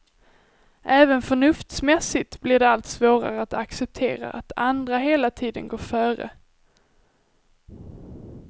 Även förnuftsmässigt blir det allt svårare att acceptera att andra hela tiden går före.